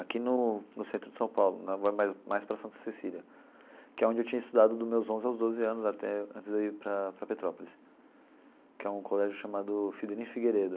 aqui no no centro de São Paulo, na rua mais mais para Santa Cecília, que é onde eu tinha estudado dos meus onze aos doze anos até, antes de eu ir para para Petrópolis, que é um colégio chamado Fidelino Figueiredo.